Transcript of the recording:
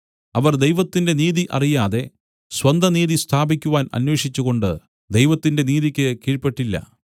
അവർ ദൈവത്തിന്റെ നീതി അറിയാതെ സ്വന്ത നീതി സ്ഥാപിക്കുവാൻ അന്വേഷിച്ചുകൊണ്ട് ദൈവത്തിന്റെ നീതിയ്ക്ക് കീഴ്പെട്ടില്ല